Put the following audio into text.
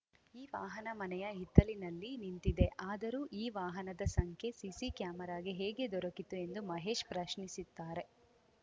ಈ ವಾಹನ ಮನೆಯ ಹಿತ್ತಲಿನಲ್ಲಿ ನಿಂತಿದೆ ಆದರೂ ಈ ವಾಹನದ ಸಂಖ್ಯೆ ಸಿಸಿ ಕ್ಯಾಮೆರಾಗೆ ಹೇಗೆ ದೊರಕಿತು ಎಂದು ಮಹೇಶ್‌ ಪ್ರಶ್ನಿಸುತ್ತಾರೆ